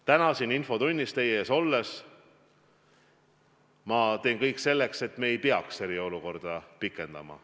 Täna siin infotunnis teie ees olles ma kinnitan, et ma teen kõik selleks, et me ei peaks eriolukorda pikendama.